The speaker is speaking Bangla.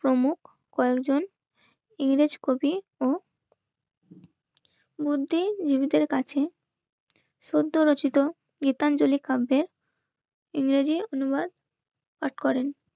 প্রমো কয়েকজন ইংরেজ কবি ও বুদ্ধিজীবিদের কাছে সদ্য রচিত গীতাঞ্জলি কাব্যে ইংরেজি অনুবাদ পাঠ করেন